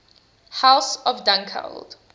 house of dunkeld